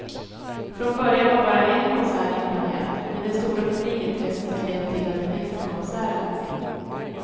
Från början var bara en konsert inplanerad, men det stora publikintresset har lett till att en extrakonsert lagts in.